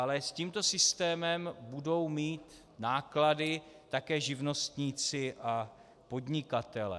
Ale s tímto systémem budou mít náklady také živnostníci a podnikatelé.